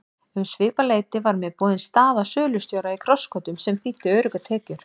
Um svipað leyti var mér boðin staða sölustjóra í Krossgötum sem þýddi öruggar tekjur.